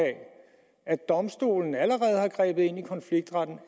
at domstolen allerede har grebet ind i konfliktretten